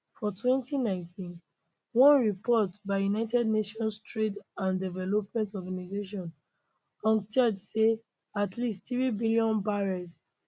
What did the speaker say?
for 2019 one report by united nations trade and development organisation unctad say at least 3 billion barrels